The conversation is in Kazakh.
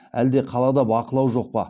әлде қалада бақылау жоқ па